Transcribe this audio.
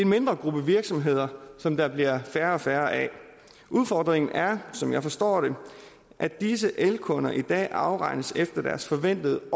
mindre gruppe virksomheder som der bliver færre og færre af udfordringen er som jeg forstår det at disse elkunder i dag afregnes efter deres forventede